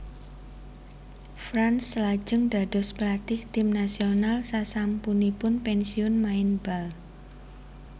Franz lajeng dados pelatih tim nasional sasampunipun pensiun main bal